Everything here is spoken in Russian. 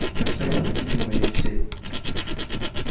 а теперь поглядите на моих детей